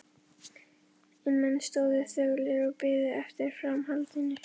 En menn stóðu þöglir og biðu eftir framhaldinu.